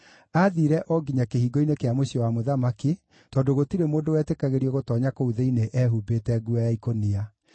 Aathiire o nginya kĩhingo-inĩ kĩa mũciĩ wa mũthamaki, tondũ gũtirĩ mũndũ wetĩkagĩrio gũtoonya kũu thĩinĩ ehumbĩte nguo ya ikũnia.